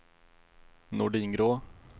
Nordingrå